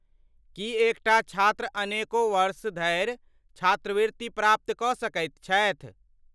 की एकटा छात्र अनेको वर्ष धरि छात्रवृत्ति प्राप्त कऽ सकैत छथि।